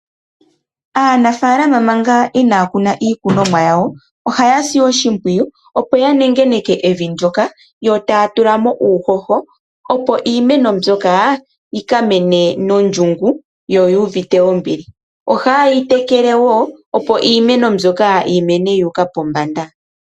Aanafaalama manga inaya kuna iikunomwa yawo, ohaya si oshimpwiyu opo yanengeneke evi ndyoka yo taya tula mo uuhoho, opo iimeno mbyoka yika mene nondjungu yo yuuvite ondjungu. Ohaye yi tekele woo opo yimene yuuka pombanda.